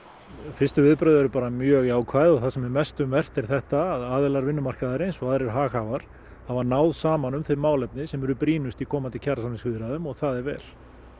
fyrstu viðbrögð eru bara mjög jákvæð og það sem er mest um vert er þetta að aðilar vinnumarkaðarins og aðrir haghafar hafa náð saman um þau málefni sem eru hvað brýnust í komandi kjarasamningsviðræðum og það er vel